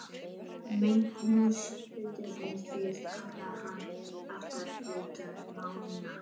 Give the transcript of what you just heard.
Magnús Hlynur: En þið kallið hann alltaf Reykdal Mána?